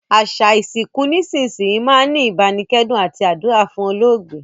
Àsà ìsinkù nísinsìnyi máa n ni ìbánikẹ́dùn àti àdúrà fún olóògbé